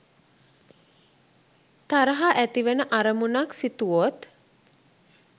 තරහා ඇතිවෙන අරමුණක් සිතුවොත්